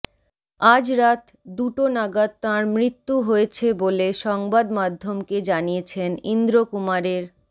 আজ রাত দুটো নাগাদ তাঁর মৃত্যু হয়েছে বলে সংবাদমাধ্যমকে জানিয়েছেন ইন্দ্র কুমারের